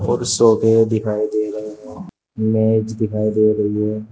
और सोफे दिखाई दे रहे हैं मेज दिखाई दे रही है।